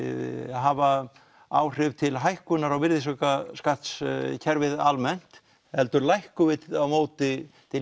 hafa áhrif til hækkunar á virðisaukaskattskerfið almennt heldur lækkum við á móti til